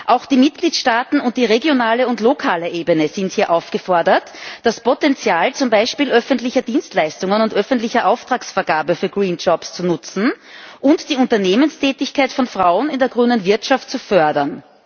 Auch die Mitgliedstaaten und die regionale und lokale Ebene sind hier aufgefordert, das Potenzial zum Beispiel öffentlicher Dienstleistungen und öffentlicher Auftragsvergabe für grüne Arbeitsplätze zu nutzen und die Unternehmenstätigkeit von Frauen in der grünen Wirtschaft zu fördern.